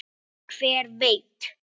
Hver veit!